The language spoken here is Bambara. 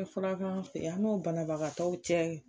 O fana b'an fe yan an n'o banabagatɔw cɛ